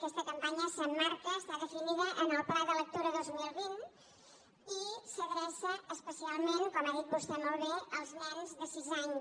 aquesta campanya s’emmarca està definida en el pla de lectura dos mil vint i s’adreça especialment com ha dit vostè molt bé als nens de sis anys